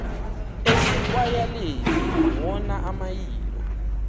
asekwayaleni wona amayilo